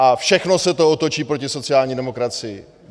A všechno se to otočí proti sociální demokracii.